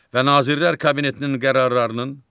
Və Nazirlər Kabinetinin qərarlarının